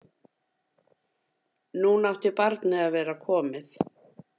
Núna átti barnið að vera komið.